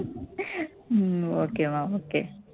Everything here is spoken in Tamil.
உம் okay மா okay